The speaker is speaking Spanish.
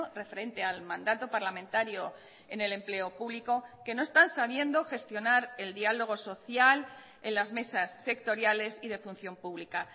referente al mandato parlamentario en el empleo público que no están sabiendo gestionar el diálogo social en las mesas sectoriales y de función pública